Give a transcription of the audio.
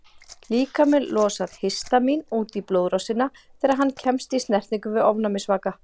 Líkaminn losar histamín út í blóðrásina þegar hann kemst í snertingu við ofnæmisvaka.